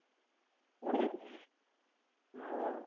ହଉ ଆଉ